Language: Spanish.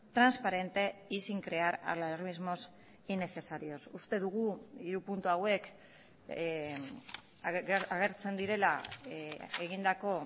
transparente y sin crear alarmismos innecesarios uste dugu hiru puntu hauek agertzen direla egindako